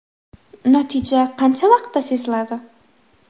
Natija qancha vaqtda seziladi?